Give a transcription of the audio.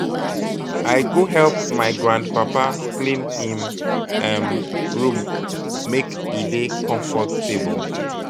go help my grandpapa clean him um room make e dey comfortable.